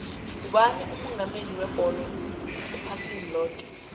ngubani umongameli webholo ephasini loke